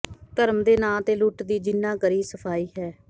ਧਰਮ ਦੇ ਨਾਂ ਤੇ ਲੁੱਟ ਦੀ ਜਿਹਨਾਂ ਕਰੀ ਸਫਾਈ ਹੈ